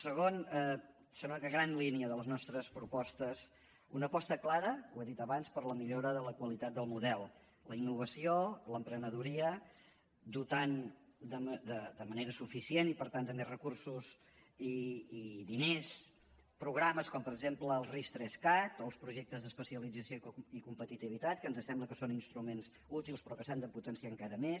segona gran línia de les nostres propostes una aposta clara ho he dit abans per la millora de la qualitat del model la innovació l’emprenedoria dotant de manera suficient i per tant també recursos i diners programes com per exemple el ris3cat o els projectes d’especialització i competitivitat que ens sembla que son instruments útils però que s’han de potenciar encara més